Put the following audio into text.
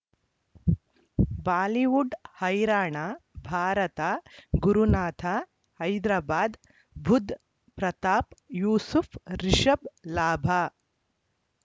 Bollywood ಹೈರಾಣ ಭಾರತ ಗುರುನಾಥ ಹೈದರಾಬಾದ್ ಬುಧ್ ಪ್ರತಾಪ್ ಯೂಸುಫ್ ರಿಷಬ್ ಲಾಭ